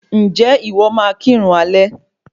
Ǹjẹ́ ìwọ máa kirun alẹ́?